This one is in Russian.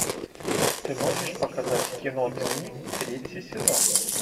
ты можешь показать кино дни третий сезон